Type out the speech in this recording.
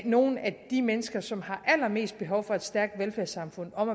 nogen af de mennesker som har allermest behov for et stærkt velfærdssamfund om